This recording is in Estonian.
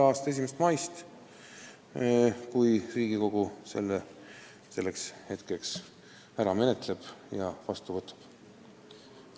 a 1. maist, kui Riigikogu on selle eelnõu selleks ajaks ära menetlenud ja seadusena vastu võtnud.